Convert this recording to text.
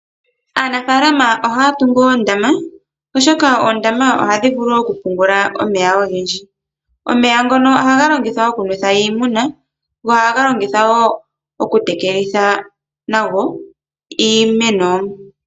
Aanafaalama oha ya tungu oondama, oshoka oondama ohadhi vulu okupungula omeya ogendji. Omeya ngoka oha ga longithawa okunwetha iimuna osho wo okutekelitha nago iimeno.